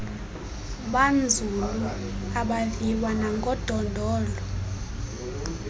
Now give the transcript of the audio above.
banzulu abaviwa nangodondolo